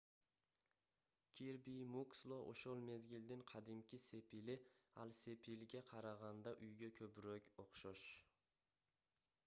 кирби муксло ошол мезгилдин кадимки сепили ал сепилге караганда үйгө көбүрөөк окшош